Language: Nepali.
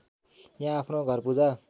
यहाँ आफ्नो घरपूजा